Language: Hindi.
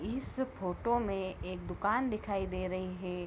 इस फोटो में एक दुकान दिखाई दे रही हे।